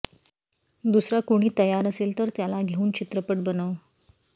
दुसरा कोणी तयार असेल तर त्याला घेऊन चित्रपट बनव